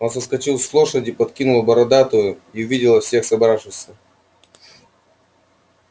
он соскочил с лошади подкинул бородатую и увидела всех собравшихся